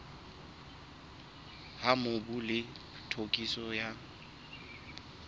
ha mobu le tokiso ya